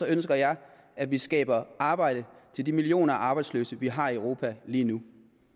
ønsker jeg at vi skaber arbejde til de millioner af arbejdsløse vi har i europa lige nu